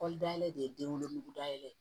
Kɔli dayɛlɛ de ye den wolo da yɛlɛ